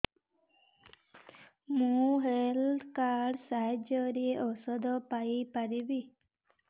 ମୁଁ health card ସାହାଯ୍ୟରେ ଔଷଧ ପାଇ ପାରିବି